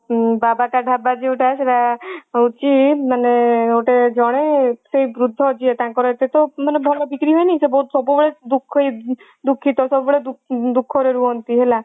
ବାବାକା ଢାବା ଯୋଉଟା ସେଟା ହଉଚି ମାନେ ଗୋଟେ ଜଣେ ସେଇ ବୃଦ୍ଧ ଯିଏ ତାଙ୍କର ସେ ତ ମାନେ ଭଲ ବିକ୍ରି ହୁଏନି ସେ ବହୁତ ସବୁବେଳେ ଦୁଖ ହି ଦୁଖିତ ସବୁବେଳେ ଦୁଖରେ ରୁହନ୍ତି ହେଲା